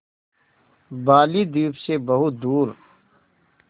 बालीद्वीप सें बहुत दूर